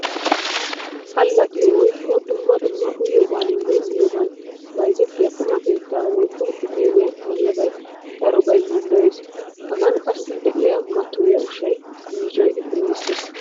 Allaxxiyo woykko dumma dumma uyiyobayinne miyobay bayzzettiya qumma keetta woykko uteeliyan haniyaabay darobay yiiloyees. Hagan qassi de'iya mattoyiya ushshay yiicoyi kunddisees.